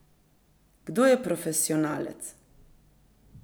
Kdo je profesionalec?